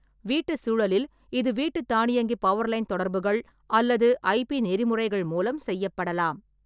வீட்டு சூழலில், இது வீட்டு தானியங்கி பவர்லைன் தொடர்புகள் அல்லது ஐ.பி நெறிமுறைகள் மூலம் செய்யப்படலாம்.